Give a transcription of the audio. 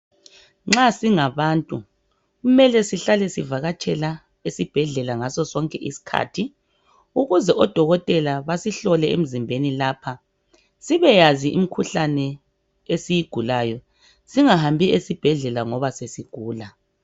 Nxa singabantu kumele sihlale sivakatsha esibhedlela ngaso sonke isikhathi ukuze odokotela basihlole emzimbeni sibeyazi imikhuhlane esiyigulayo singahambi esibhedlela ngoba sesigula